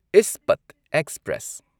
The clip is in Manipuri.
ꯏꯁꯄꯠ ꯑꯦꯛꯁꯄ꯭ꯔꯦꯁ